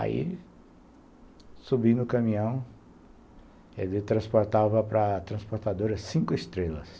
Aí, subindo o caminhão, ele transportava para a transportadora cinco estrelas.